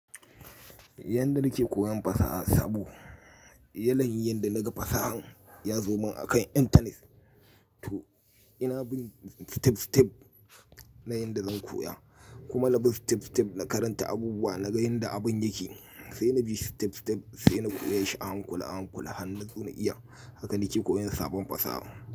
Yanda nake koyan fasaha sabo, yana yin yanda naga fasahan ya zo min akan intanet. To ina bin step step na yanda zan koya, kuma na bi step step na karanta abubuwa, naga inda abun yake, sai na bi step step sai na koya shi a hankula a hankula har nazo na iya. Haka nake koyan sabon fasaha.